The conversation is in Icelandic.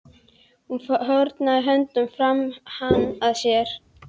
Hún fórnar höndum og faðmar hann að sér.